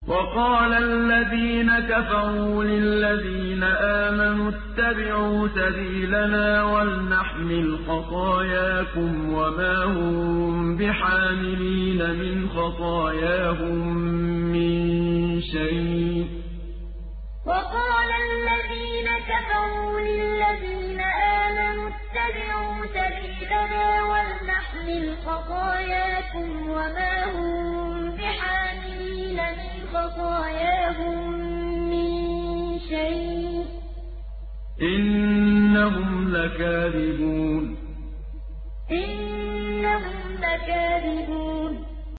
وَقَالَ الَّذِينَ كَفَرُوا لِلَّذِينَ آمَنُوا اتَّبِعُوا سَبِيلَنَا وَلْنَحْمِلْ خَطَايَاكُمْ وَمَا هُم بِحَامِلِينَ مِنْ خَطَايَاهُم مِّن شَيْءٍ ۖ إِنَّهُمْ لَكَاذِبُونَ وَقَالَ الَّذِينَ كَفَرُوا لِلَّذِينَ آمَنُوا اتَّبِعُوا سَبِيلَنَا وَلْنَحْمِلْ خَطَايَاكُمْ وَمَا هُم بِحَامِلِينَ مِنْ خَطَايَاهُم مِّن شَيْءٍ ۖ إِنَّهُمْ لَكَاذِبُونَ